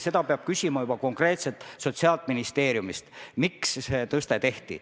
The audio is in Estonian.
Seda peab küsima juba konkreetselt Sotsiaalministeeriumist, miks see tõste tehti.